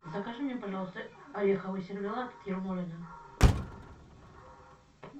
закажи мне пожалуйста ореховый сервелат ермолино